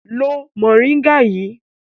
Lo mòríngà yìí!